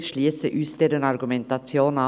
Wir schliessen uns dieser Argumentation an.